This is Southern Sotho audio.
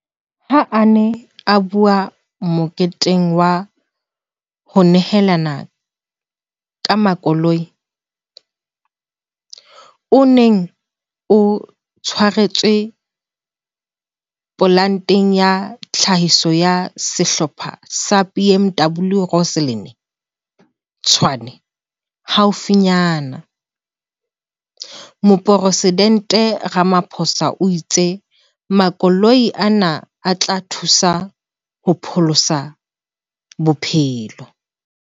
Ha a ne a bua moketeng wa ho nehelana ka makoloi, o neng o tshwaretswe polanteng ya tlhahiso ya Sehlopha sa BMW Rosslyn, Tshwane, haufinyana, Moporesidente Ramaphosa o itse makoloi ana a tla thusa ho pholosa bophelo.